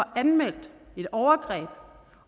anmeldt et overgreb